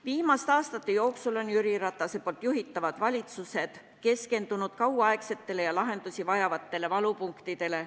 Viimaste aastate jooksul on Jüri Ratase juhitavad valitsused keskendunud kauaaegsetele ja lahendusi vajavatele valupunktidele.